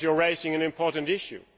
you are raising an important issue.